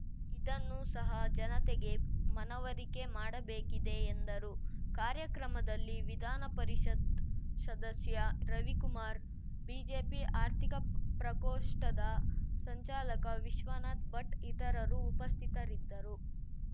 ಇದನ್ನು ಸಹ ಜನತೆಗೆ ಮನವರಿಕೆ ಮಾಡಬೇಕಿದೆ ಎಂದರು ಕಾರ್ಯಕ್ರಮದಲ್ಲಿ ವಿಧಾನಪರಿಷತ್‌ ಸದಸ್ಯ ರವಿಕುಮಾರ್‌ ಬಿಜೆಪಿ ಆರ್ಥಿಕ ಪ್ರಕೋಷ್ಠದ ಸಂಚಾಲಕ ವಿಶ್ವನಾಥ್‌ ಭಟ್‌ ಇತರರು ಉಪಸ್ಥಿತರಿದ್ದರು